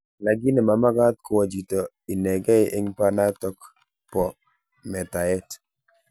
Lakini mamakat kowa chito inegei eng' pananatok bo metaet.